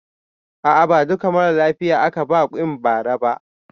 A a ba duka maralafiya aka ba quinn ba ra ba